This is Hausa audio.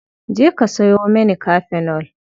Je ka sawo mani kafenol.